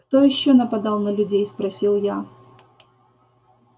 кто ещё нападал на людей спросил я